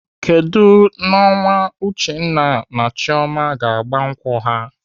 Kedụ ọnwa Uchenna na Chioma ga-agba nkwụ ha?